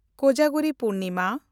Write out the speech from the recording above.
Kojagiri Purnima